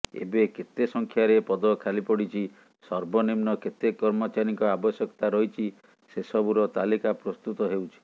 ଏବେ କେତେ ସଂଖ୍ୟାରେ ପଦ ଖାଲିପଡ଼ିଛି ସର୍ବନିମ୍ନ କେତେ କର୍ମଚାରୀଙ୍କ ଆବଶ୍ୟକତା ରହିଛି ସେସବୁର ତାଲିକା ପ୍ରସ୍ତୁତ ହେଉଛି